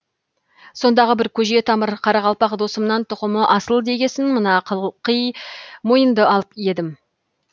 сондағы бір көже тамыр қарақалпақ досымнан тұқымы асыл дегесін мына қылқи мойынды алып едім